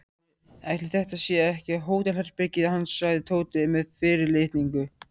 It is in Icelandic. Ætli þetta sé ekki hótelherbergið hans sagði Tóti með fyrirlitningu.